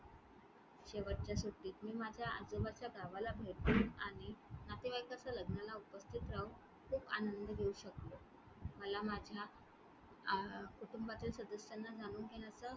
शेवटच्या सुट्टीत मी माझ्या आजोबाच्या गावाला भेट दिले आणि नातेवाईकाच्या लग्नाला उपस्थित राहून खूप आनंद घेऊ शकले. मला माझ्या अं कुटुंबातील सदस्यांना जाणून घेण्याचा